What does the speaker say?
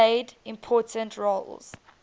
played important roles